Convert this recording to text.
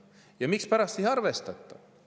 Ja mispärast ei arvestata?